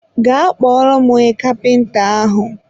gaa kpọrọ m onye kapịnta ahụ!